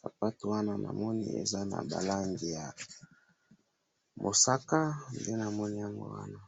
sapato wana na moni eza naba langi ya mosaka nde na moni yango wana